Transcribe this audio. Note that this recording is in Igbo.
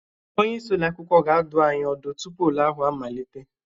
Onye isi ụlọ akwụkwọ ga-adụ anyị ọdụ tupu ule ahụ amalite